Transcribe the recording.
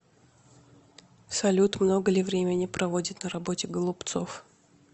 салют много ли времени проводит на работе голубцов